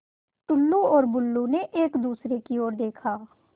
टुल्लु और बुल्लु ने एक दूसरे की ओर देखा